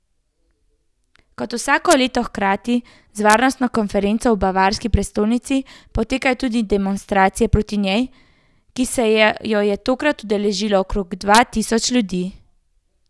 Kot vsako leto hkrati z varnostno konferenco v bavarski prestolnici potekajo tudi demonstracije proti njej, ki se je je tokrat udeležilo okrog dva tisoč ljudi.